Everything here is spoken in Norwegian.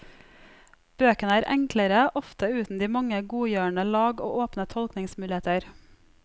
Bøkene er enklere, ofte uten de mange godgjørende lag og åpne tolkningsmuligheter.